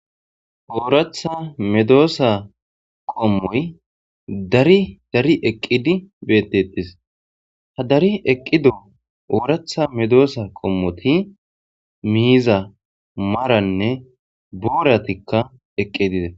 ooratha medoosa qommoy dari dari eqqidi bettettis ha dari eqqido ooratha medoosa qommoti miiza maranne booratikka eqqi dide